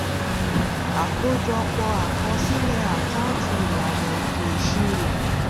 àkójọpọ akosile àkáǹtì ìlànà eto ìṣirò